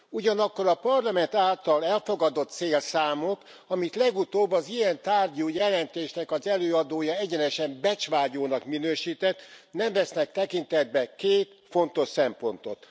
Ugyanakkor a Parlament által elfogadott célszámok, amit legutóbb az ilyen tárgyú jelentésnek az előadója egyenesen becsvágyónak minősített, nem vesznek tekintetbe két fontos szempontot.